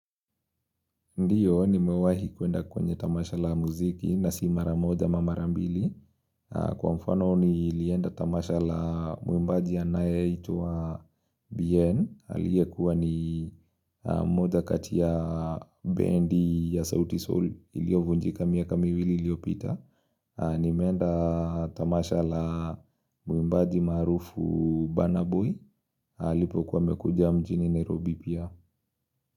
Ndiyo nimewahi kuenda kwenye tamasha la muziki na si mara moja ama mara mbili Kwa mfano nilienda tamasha la muimbaji anayeitwa Bien aliyekuwa ni moja kati ya bendi ya sauti Soul iliyovunjika miaka miwili iliyopita nimeenda tamasha la muimbaji maarufu Burna boy alipokuwa amekuja mjini Nairobi pia.